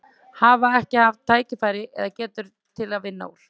Hafa ekki haft tækifæri eða, eða getu til að vinna úr?